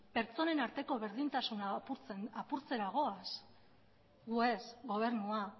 pertsonen arteko berdintasuna apurtzera goaz gu ez gobernua